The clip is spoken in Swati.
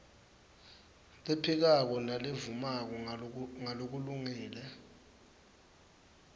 lephikako nalevumako ngalokulungile